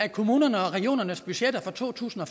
i kommunernes og regionernes budgetter for to tusind og